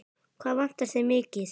Hvað vantar þig mikið?